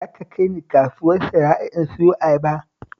Za ka kai ni kasuwar Sharaɗa in siyo ayaba?